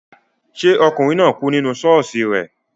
Ṣé ọkùnrin náà kú nínú ṣọ́ọ̀ṣì rẹ